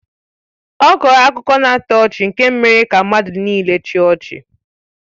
Ọ kọọrọ akụkọ na-atọ ọchị nke mere ka mmadụ nịịle chịa ọchị.